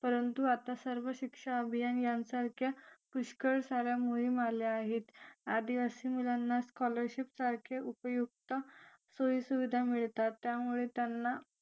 परंतु आता सर्व शिक्षा अभियान यासारख्या पुष्कळ साऱ्या मोहीम आल्या आहेत आदिवासी मुलांना scholarship सारख्या सोयीसुविधा मिळतात त्यामुळे त्यांना